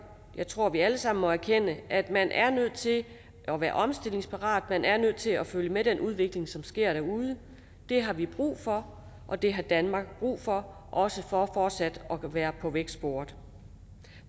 at jeg tror vi alle sammen må erkende at man er nødt til at være omstillingsparat man er nødt til at følge med den udvikling som sker derude det har vi brug for og det har danmark brug for også for fortsat at være på vækstsporet